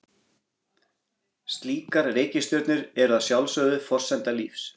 Slíkar reikistjörnur eru að sjálfsögðu forsenda lífs.